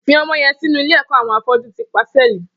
Fi ọmọ yèn sinú ilé ẹkọ awọn áfọ̀jù ti pàsẹlí